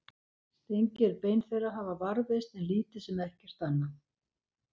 steingerð bein þeirra hafa varðveist en lítið sem ekkert annað